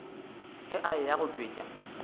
ge a eya go tšwetša